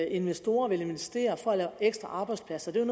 investorer vil investere for at lave ekstra arbejdspladser det er